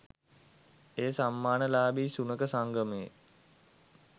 එය සම්මානලාභී සුනඛ සංගමයේ